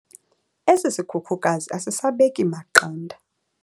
Esi sikhukukazi asisabeki maqanda.